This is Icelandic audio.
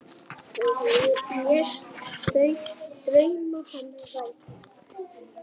Þú lést drauma hennar rætast.